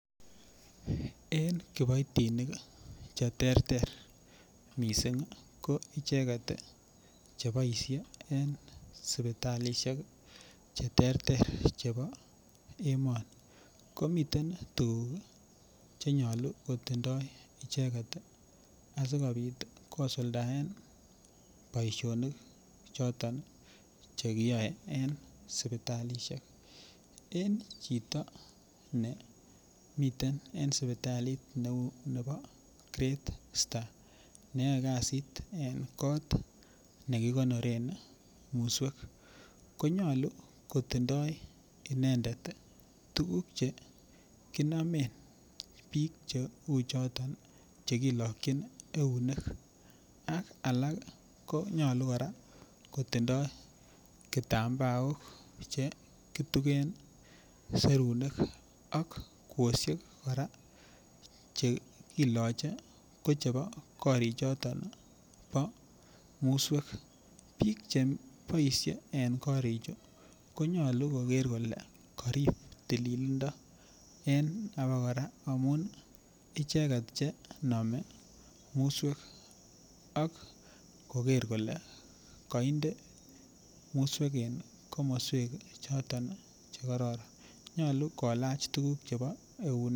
En kiboitinik Che terter mising ko icheget Che boisie en sipitalisiek Che terter chebo emoni ko miten tuguk Che nyolu kotindoi tuguk Che boisien asikobit kosuldaen boisinik choton Che kiyae en sipitalisiek en chito nemiten en sipitalit neu nebo great start ne yoe kasiit en kot nekikonoren muswek ko nyolu kotindoi inendet tuguk Che bik Cheu choto chekilakyin eunek ak alak ko nyolu kora kotindoi kitambaok Che kitugen serunek ak kwosiek kora Che kiloche ko chebo korichoto bo muswek bik Che boisye en korichu ko nyolu koger kole karib tililindo en abakora amun icheget Che nome muswek ak koker kole kainde muswek en komoswek choton Che kororon nyolu kolach tuguk Che kilakyin eunek